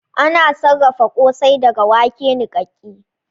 Ana sarafa kosai daga wake nikake